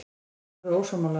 Dagur er ósammála þessu.